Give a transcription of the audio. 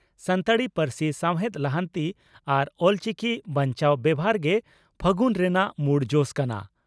ᱥᱟᱱᱛᱟᱲᱤ ᱯᱟᱹᱨᱥᱤ ᱥᱟᱣᱦᱮᱫ ᱞᱟᱦᱟᱱᱛᱤ ᱟᱨ ᱚᱞᱪᱤᱠᱤ ᱵᱟᱧᱪᱟᱣ ᱵᱮᱣᱦᱟᱨ ᱜᱮ 'ᱯᱷᱟᱹᱜᱩᱱ' ᱨᱮᱱᱟᱜ ᱢᱩᱲ ᱡᱚᱥ ᱠᱟᱱᱟ ᱾